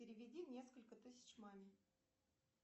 переведи несколько тысяч маме